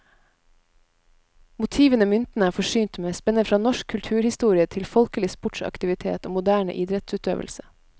Motivene myntene er forsynt med, spenner fra norsk kulturhistorie til folkelig sportsaktivitet og moderne idrettsøvelse.